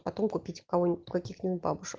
потом купить кого нибудь каких нибудь бабушка